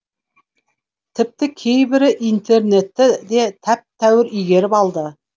тіпті кейбірі интернетті де тәп тәуір игеріп алды